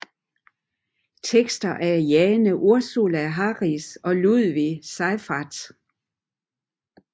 Tekster af Jane Ursula Harris og Ludwig Seyfarth